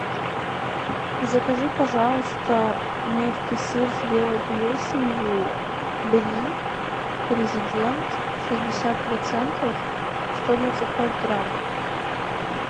закажи пожалуйста мягкий сыр с белой плесенью бри президент шестьдесят процентов сто двадцать пять грамм